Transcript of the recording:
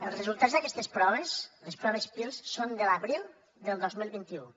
els resultats d’aquestes proves les proves pirls són de l’abril del dos mil vint u